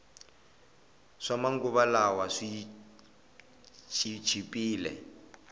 swama nguva lawa swi chipile